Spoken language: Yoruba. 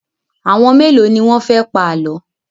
Àwọn mélòó ni wọ́n fẹ́ pa àlọ́?